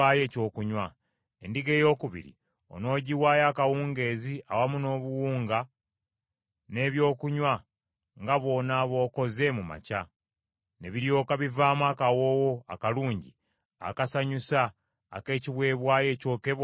Endiga eyookubiri onoogiwaayo akawungeezi awamu n’obuwunga n’ebyokunywa nga bw’onooba okoze mu makya, ne biryoka bivaamu akawoowo akalungi akasanyusa ak’ekiweebwayo ekyokebwa eri Mukama .